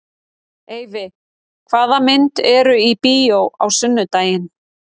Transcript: Eyfi, hvaða myndir eru í bíó á sunnudaginn?